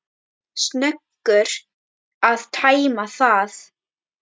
Snöggur að tæma það.